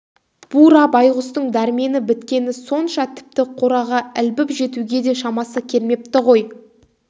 бура байғұстың дәрмені біткені сонша тіпті қораға ілбіп жетуге де шамасы келмепті ғой